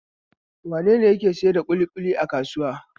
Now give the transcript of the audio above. Wane ne yake sayar da kilishi a kasuwa?